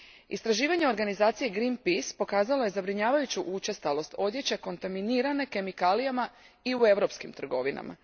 Istraživanje organizacije Greenpeace pokazalo je zabrinjavajuću učestalost odjeće kontaminirane kemikalijama i u europskim trgovinama.